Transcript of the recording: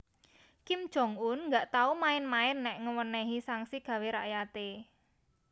Kim Jong Un gak tau main main nek ngewenehi sanksi gawe rakyate